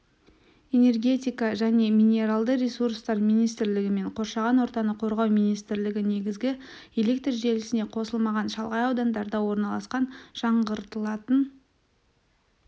энергетика және минералды ресурстар министрлігі мен қоршаған ортаны қорғау министрлігі негізгі электржелісіне қосылмаған шалғай аудандарда орналасқан жаңғыртылатын